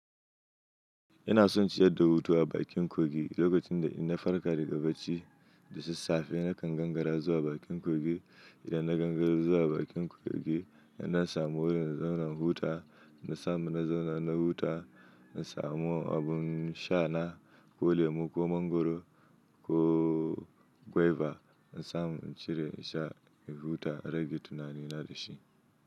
Ina son ci yadda huta a bakin kogin, lokacin da ina farka daga bacci da sassafe, ina gangara zuwa bakin kogin. Ida na gangara zuwa bakin kogin, inna samu wurin in zauna in huta. Ina samu zauna na huta, na samun abun sha na, ko lemu, ko mangoro, ko guiva. Ina samun cire in sha, in huta, in rage tunani ina da shi.